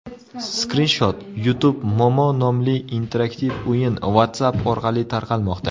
Skrinshot: YouTube Momo nomli interaktiv o‘yin WhatsApp orqali tarqalmoqda.